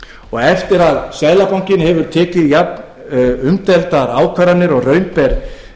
og eftir að seðlabankinn tók jafnumdeildar ákvarðanir og raun ber